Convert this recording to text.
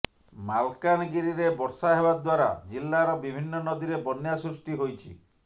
ମାଲକାନଗିରିରେ ବର୍ଷା ହେବା ଦ୍ୱାରା ଜିଲ୍ଲାର ବିଭିନ୍ନ ନଦୀରେ ବନ୍ୟା ସୃଷ୍ଟି ହୋଇଛି